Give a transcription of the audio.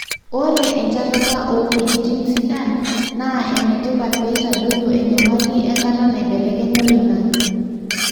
ore enchatata o weujitin sidan na enetipat peitadoyio enyamali enkata naibelekenya oloingange.